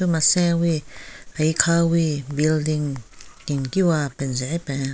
Masanwi aikhawi building kenkiwa kenze e hepen.